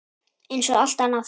Eins og allt annað.